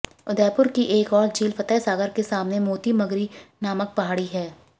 उदयपुर की एक और झील फतहसागर के सामने मोती मगरी नामक पहाड़ी है